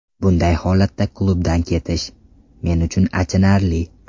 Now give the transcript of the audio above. Bunday holatda klubdan ketish, men uchun achinarli.